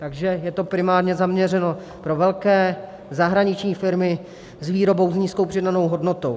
Takže je to primárně zaměřeno na velké zahraniční firmy s výrobou s nízkou přidanou hodnotou.